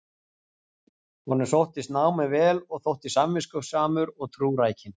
Honum sóttist námið vel og þótti samviskusamur og trúrækinn.